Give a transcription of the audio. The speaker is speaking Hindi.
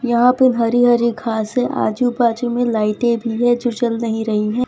यह पे हरी हरी घास है आजू बाजू में लाइटें भी है जो जल नहीं रही है।